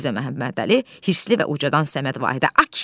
Mirzə Məhəmmədəli hirsli və ucadan Səməd Vahidə.